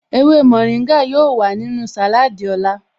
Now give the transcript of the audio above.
Ewé mórìngà yóò wà nínú sàláádì lọ́la